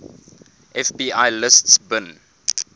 fbi lists bin